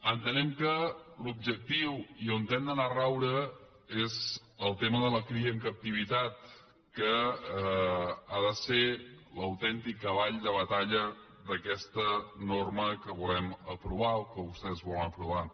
entenem que l’objectiu i on hem d’anar a raure és al tema de la cria en captivitat que ha de ser l’autèntic cavall de batalla d’aquesta norma que volem aprovar o que vostès volen aprovar